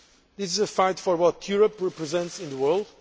This is a fight for what Europe represents in the world.